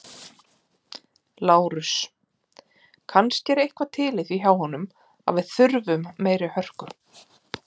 LÁRUS: Kannski er eitthvað til í því hjá honum að við þurfum meiri hörku.